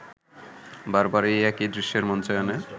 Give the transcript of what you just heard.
বারবার এই একই দৃশ্যের মঞ্চায়নে